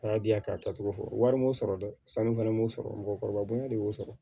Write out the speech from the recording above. A y'a di yan ka taa cogo fɔ wari m'o sɔrɔ dɛ sanu fɛnɛ b'o sɔrɔ mɔgɔkɔrɔba bonya de y'o sɔrɔ